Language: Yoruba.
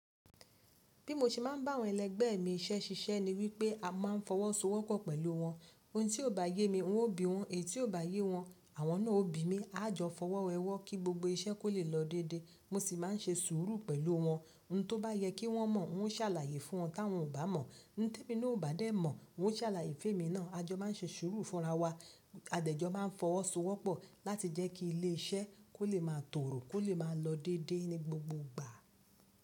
Bí mo ṣe máa ń bá àwọn ẹlẹgbẹ́ mi iṣẹ́ ṣiṣẹ́ ni wípé a máa ń fọwọ́sowọ́pọ̀ pẹ̀lú wọn. Ohun tí ó bá yé mi, n ó bí wọn, èyí tí ó bá yé wọn, àwọn náà ó bí mi. A jọ fọwọ́ wẹ ọwọ́ kí gbogbo iṣẹ́ kó lè lọ dédé. Mo sì máa ń ṣe sùúrù pẹ̀lú wọn. Ohun tó bá yẹ kí wọ́n mọ̀, n ó sàlàyé fún wọn; tí àwọn ò bá mọ̀, ohun tí èmi náà ò bá dé mọ̀, n ó sàlàyé fún èmi náà. A jọ máa ń ṣe sùúrù fúnra wa. Adẹ̀jọ máa ń fọwọ́sowọ́pọ̀ láti jẹ́ kí ilé iṣẹ́ kó lè máa tòrò, kó lè máa lọ dédé ní gbogbo ìgbà.